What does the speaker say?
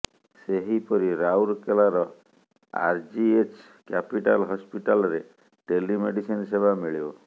ସେହିପରି ରାଉରକେଲାର RGH capital ହସ୍ପିଟାଲରେ ଟେଲି ମେଡ଼ିସିନ ସେବା ମିଳିବ